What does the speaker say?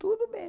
Tudo bem.